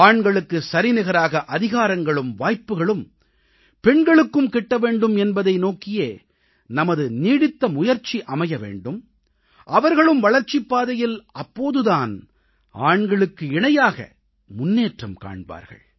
ஆண்களுக்குச் சரிநிகராக அதிகாரங்களும் வாய்ப்புக்களும் பெண்களுக்கும் கிட்ட வேண்டும் என்பதை நோக்கியே நமது நீடித்த முயற்சி அமைய வேண்டும் அவர்களும் வளர்ச்சிப் பாதையில் அப்போது தான் ஆண்களுக்கு இணையாக முன்னேற்றம் காண்பார்கள்